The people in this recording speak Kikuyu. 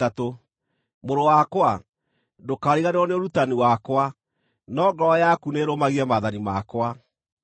Mũrũ wakwa, ndũkariganĩrwo nĩ ũrutani wakwa, no ngoro yaku nĩĩrũmagie maathani makwa,